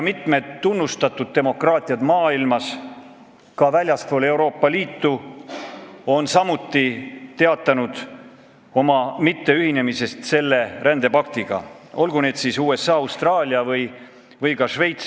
Mitu tunnustatud demokraatlikku riiki väljaspool Euroopa Liitu on samuti teatanud selle rändepaktiga mitteühinemisest, olgu näiteks USA, Austraalia või Šveits.